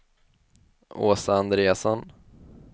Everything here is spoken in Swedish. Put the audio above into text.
Åsa Andreasson